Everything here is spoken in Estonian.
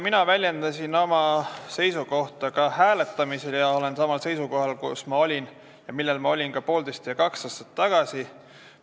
Mina väljendasin oma seisukohta ka hääletamisel ja olen samal seisukohal, nagu ma olin ka poolteist ja kaks aastat tagasi.